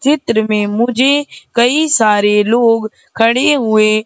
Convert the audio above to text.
चित्र में मुझे कई सारे लोग खड़े हुए--